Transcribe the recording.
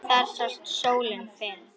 Þar sást sólin fyrr.